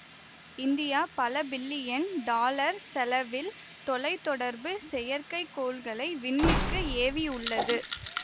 India பலபில்லியன் dollar செலவில் தொலை தொடர்பு செயற்கை கோள்களை விண்ணிற்கு ஏவியுள்ளது